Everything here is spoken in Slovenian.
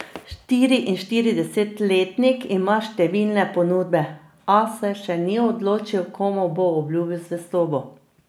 Štiriinštiridesetletnik ima številne ponudbe, a se še ni odločil, komu bo obljubil zvestobo.